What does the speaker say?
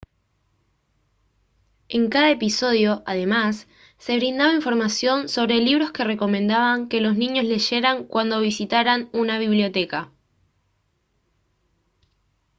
en cada episodio además se brindaba información sobre libros que recomendaban que los niños leyeran cuando visitaran una biblioteca